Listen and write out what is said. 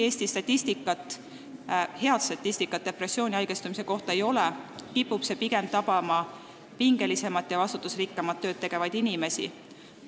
Eestis head statistikat depressiooni haigestumise kohta ei ole, aga teada on, et see kipub tabama pingelisemat ja vastutusrikkamat tööd tegevaid inimesi.